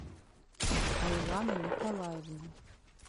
айлана николаевна